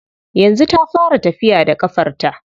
Yanzu ta fara tafiya da ƙafarta.